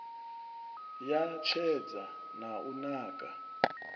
ya tshedza na u naka